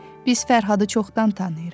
Biz Fərhadı çoxdan tanıyırıq.